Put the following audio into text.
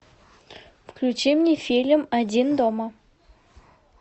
включи мне фильм один дома